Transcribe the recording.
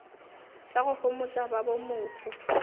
tša go homotša ba bomohu